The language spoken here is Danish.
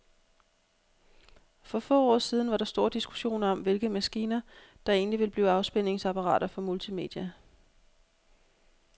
For få år siden var der stor diskussion om, hvilke maskiner, der egentlig ville blive afspilningsapparater for multimedia.